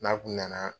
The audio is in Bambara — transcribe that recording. N'a kun nana